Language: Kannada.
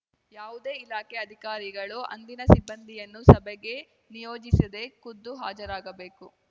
ಯಾವುದೇ ಇಲಾಖೆ ಅಧಿಕಾರಿಗಳು ಅಂದಿನ ಸಿಬ್ಬಂದಿಯನ್ನು ಸಭೆಗೆ ನಿಯೋಜಿಸದೇ ಖುದ್ದು ಹಾಜರಾಗಬೇಕು